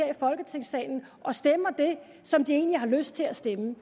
folketingssalen og stemmer det som de egentlig har lyst til at stemme